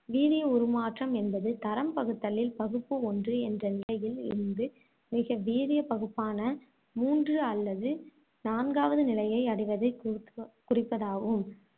வீரிய உருமாற்றம் என்பது தரம் பகுத்தலில் பகுப்பு ஒன்று என்ற நிலையில் இருந்து மிக வீரிய பகுப்பான மூன்று அல்லது நான்காவது நிலையை அடைவதை குறிக்கு~ குறிப்பதாகும்.